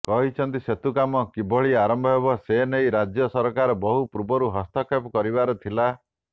କହିଛନ୍ତି ସେତୁ କାମ କିଭଳି ଆରମ୍ଭ ହେବ ସେନେଇ ରାଜ୍ୟ ସରକାର ବହୁପୂର୍ବରୁ ହସ୍ତକ୍ଷେପ କରିବାର ଥିଲା